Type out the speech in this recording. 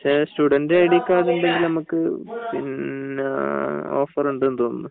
student ID card ഉണ്ടങ്കിൽ നമുക്ക് offer ഉണ്ടെന്നു തോന്നുന്നു